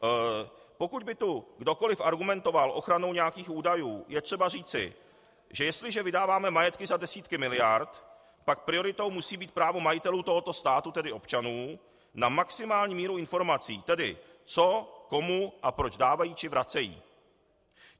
Pokud by tu kdokoli argumentoval ochranou nějakých údajů, je třeba říct, že jestliže vydáváme majetky za desítky miliard, pak prioritou musí být právo majitelů tohoto státu, tedy občanů, na maximální míru informací, tedy co komu a proč dávají či vracejí.